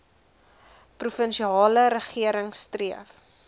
provinsiale regering streef